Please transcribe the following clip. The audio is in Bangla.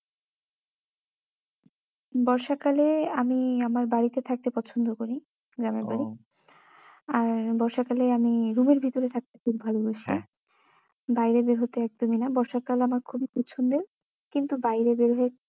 বর্ষাকালে আমি আমার বাড়িতে থাকতে পছন্দ করি গ্রামের বাড়ি ও আর বর্ষাকালে আমি room ভিতরে থাকতে খুব ভালোবাসি হ্যাঁ বাইরে বের হতে একদমই না বর্ষাকাল আমার খুবই পছন্দের কিন্তু বাইরে বের হয়ে